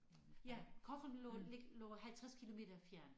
Ja Cochem lå lå 50 kilometer fjernt